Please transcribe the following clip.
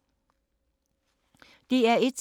DR1